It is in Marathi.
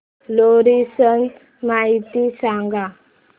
लोहरी सण माहिती सांगा